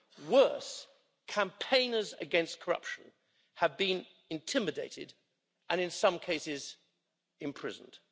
Worse, campaigners against corruption have been intimidated and, in some cases, imprisoned.